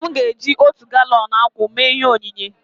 Nna m ga-eji otu galọn akwụ mee ihe onyinye